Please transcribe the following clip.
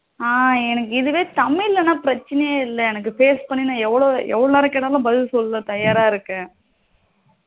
ஆ எனக்கு இதுவே தமிழ் லனா பிரச்சனையே இல்லை எனக்கு face பண்ணி எனக்கு எவளோ எவளோ நேரம் கேட்டாலும் பதில் சொல்ல தயாரா இருக்கேன்